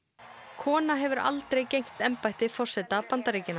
kona hefur aldrei gegnt embætti forseta Bandaríkjanna